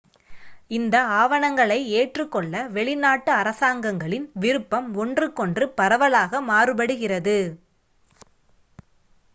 இந்த ஆவணங்களை ஏற்றுக்கொள்ள வெளிநாட்டு அரசாங்கங்களின் விருப்பம் ஒன்றுக்கொன்று பரவலாக மாறுபடுகிறது